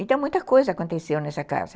Então, muita coisa aconteceu nessa casa.